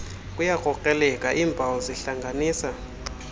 kuyakrokreleka iimpawu zihlanganisa